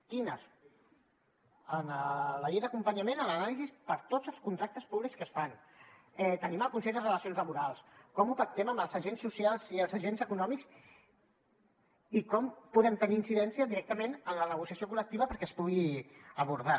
quines en la llei d’acompanyament en l’anàlisi per tots els contractes públics que es fan tenim el consell de relacions laborals com ho pactem amb els agents socials i els agents econòmics i com podem tenir incidència directament en la negociació col·lectiva perquè es pugui abordar